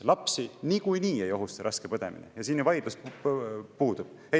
Lapsi niikuinii ei ohusta raske põdemine, siin ju vaidlus puudub.